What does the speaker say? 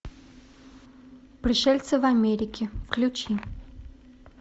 пришельцы в америке включи